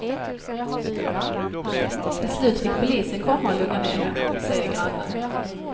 Till slut fick polisen komma och lugna ner henne, säger grannen.